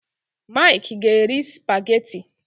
Mike ga eri spaghetti